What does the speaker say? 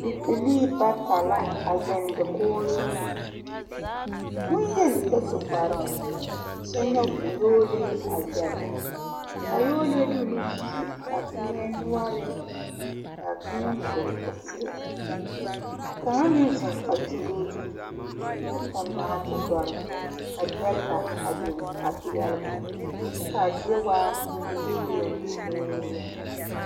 Bibilii bata la a zeŋ dakoo zuun. Boyeni ba su kparo kyɛ nyoɔ o yoɔle a zɛle. Ka a yoɔle de o nu te a kpieɛ nuore, ka a kpieɛ kore o seɛ. Ka kanga meŋ zeŋ a kyuole o zu kyɛ tuŋ norte doure Ka gyereka a biŋ a piɛle ba. Kyɛ ka a zie waa legruŋ fiilɛ